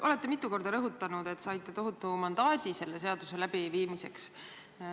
Olete mitu korda rõhutanud, et saite tohutu mandaadi selle seaduse läbiviimiseks.